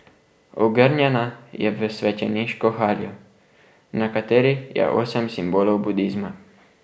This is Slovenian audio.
Ogrnjena je v svečeniško haljo, na kateri je osem simbolov budizma.